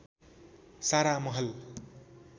सारा महल